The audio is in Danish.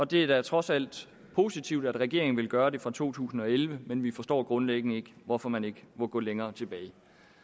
det er da trods alt positivt at regeringen vil gøre det fra to tusind og elleve men vi forstår grundlæggende ikke hvorfor man ikke må gå længere tilbage